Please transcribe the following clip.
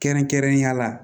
Kɛrɛnkɛrɛnnenya la